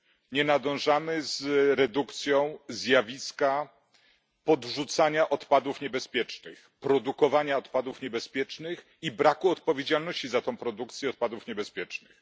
Nie nadążamy z redukcją zjawiska podrzucania odpadów niebezpiecznych, produkowania odpadów niebezpiecznych i braku odpowiedzialności za produkcję odpadów niebezpiecznych.